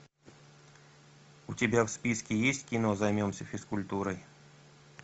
у тебя в списке есть кино займемся физкультурой